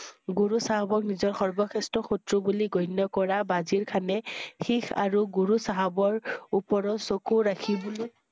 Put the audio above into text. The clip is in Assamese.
গুৰু চাহাবক নিজৰ সৰ্ব শ্ৰেষ্ঠ শত্ৰু বুলি গণ্য কৰা ৱাজিৰ খানে শিখ আৰু গুৰু চাহাবৰ উপৰত চকু ৰাখিবলৈ